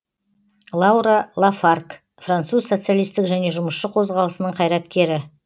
лаура лафарг француз социалистік және жұмысшы қозғалысының қайраткері